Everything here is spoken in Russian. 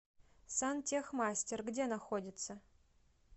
сантехмастер где находится